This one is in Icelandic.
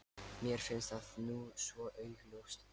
Mér finnst það nú svo augljóst.